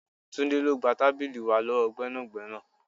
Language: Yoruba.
Túndé, lọ gba tábìlì wá lọ́wọ́ gbẹ́nàgbẹ́nà.